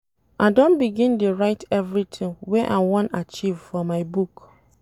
I don begin dey write everytin wey I wan achieve for my book.